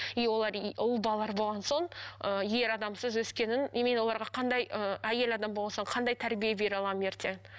и олар ұл балалар болған соң ы ер адамсыз өскенін и мен оларға қандай ыыы әйел адам болған соң қандай тәрбие бере аламын ертең